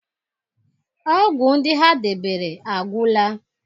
ọgwụ ndị ha debere agwụla